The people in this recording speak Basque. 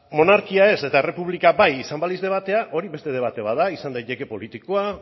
monarkia ez eta errepublika bai izango balitz debatea hori beste debate bat da izan daiteke politikoa